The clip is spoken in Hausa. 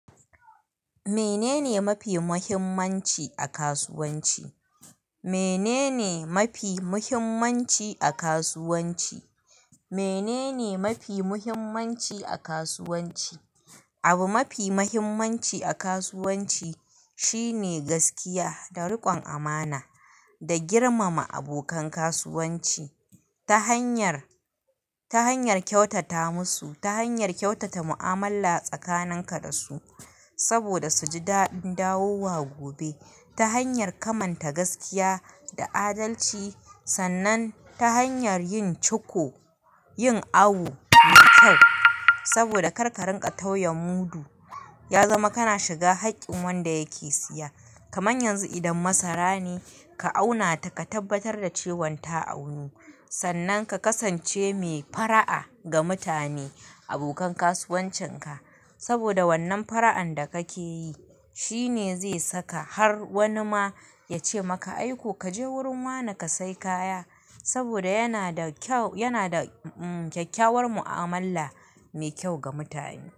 Menene mafi muhimmanci a kasuwanci? Menene mafi muhimmanci a kasuwanci? Menene mafi muhimmanci a kasuwanci? Abu mafi mahimmanci a kasuwanci shine gaskiya da riƙon amana da girmama abokan kasuwanci ta hanyar, ta hanyar kyautata musu, ta hanyar kyautata mu'amala tsakanin ka da su saboda su ji dadin dawowa gobe. Ta hanyar kamanta gaskiya da adalci sannan ta hanyar yin ciko, yin awu mai kyau saboda kar ka rinƙa tauya mudu ya zama kana shiga haƙƙin wanda yake siya. Kaman yanzu idan masara ne ka auna ta ka tabbatar da cewan ta aunu sannan ka kasance mai fara'a ga mutane abokan kasuwancin ka. Saboda wannan fara'an da ka ke yi shine zai saka har wani ma ya ce maka aiko "ka je wurin wane ka sai kaya" saboda yana da kyau, yana da um um kyakkyawar mu'amala mai kyau ga mutane.